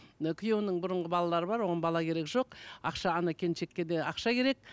ы күйеуінің бұрынғы балалары бар оған бала керек жоқ ақша келіншекке де ақша керек